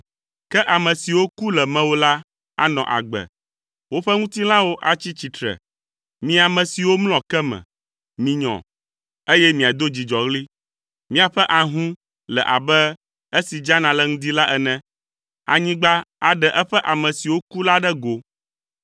Ke ame siwo ku le mewò la anɔ agbe; woƒe ŋutilãwo atsi tsitre. Mi ame siwo mlɔ ke me, minyɔ, eye miado dzidzɔɣli. Miaƒe ahũ le abe esi dzana le ŋdi la ene. Anyigba aɖe eƒe ame siwo ku la ɖe go.